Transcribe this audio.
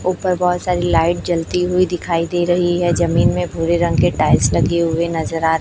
ऊपर बहोत सारी लाइट जलती हुई दिखाई दे रही है जमीन में भूरे रंग के टाइल्स लगे हुए नजर आ रहे--